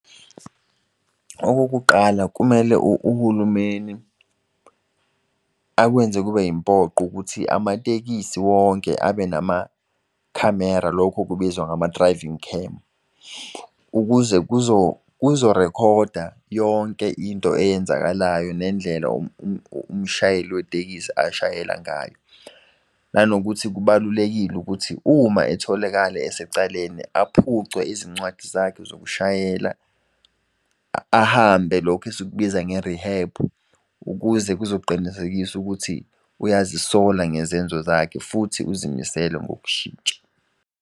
Okokuqala kumele uhulumeni akwenze kube yimpoqo ukuthi amatekisi wonke abe namakhamera. Lokhu okubizwa ngama-driving cam ukuze kuzo rekhoda yonke into eyenzakalayo nendlela umshayeli wetekisi ashayela ngayo. Nanokuthi kubalulekile ukuthi uma etholakala esecaleni aphucwe izincwadi zakhe zokushayela. Ahambe lokhu esikubiza nge-rihebhu ukuze kuzoqinisekisa ukuthi uyazisola ngezenzo zakhe futhi uzimisele ngokushintsha.